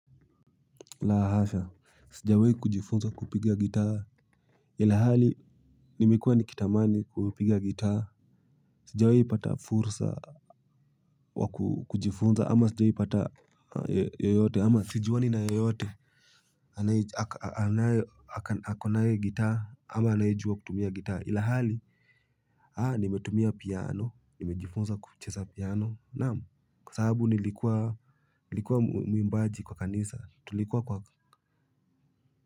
La hasha, sijawahi kujifunza kupiga gitaa, ilhali nimekuwa nikitamani kupiga gitaa, sijawahi pata fursa wa kujifunza ama sijawahi pata yeyote ama sijiuani na yeyote, anaye, ako nayo gitaa ama anaye jua kutumia gitaa ilhali, nimetumia piano, nimejifunza kucheza piano, naam, kwa sababu nilikuwa mwimbaji kwa kanisa tulikuwa kwa.